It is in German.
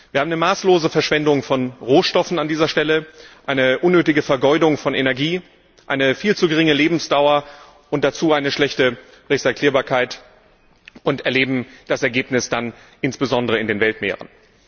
Wir haben eine maßlose Verschwendung von Rohstoffen an dieser Stelle, eine unnötige Vergeudung von Energie, eine viel zu geringe Lebensdauer und dazu eine schlechte Rezyklierbarkeit und erleben das Ergebnis dann insbesondere in den Weltmeeren.